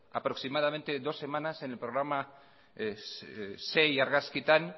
aproximadamente dos semanas en el programa seis argazkitan